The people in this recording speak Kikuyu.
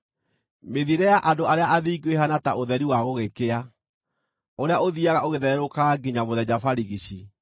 Mĩthiĩre ya andũ arĩa athingu ĩhaana ta ũtheri wa gũgĩkĩa, ũrĩa ũthiiaga ũgĩthererũkaga nginya mũthenya barigici.